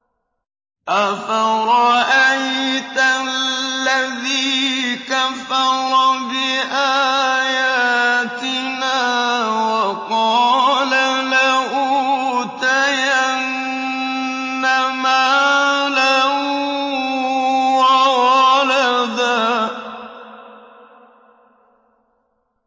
أَفَرَأَيْتَ الَّذِي كَفَرَ بِآيَاتِنَا وَقَالَ لَأُوتَيَنَّ مَالًا وَوَلَدًا